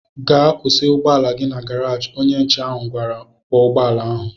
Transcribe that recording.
Gaa kwụsị ụgbọala gị na garaji! Onye nche ahụ gwara ọkwọ ụgbọala ahụ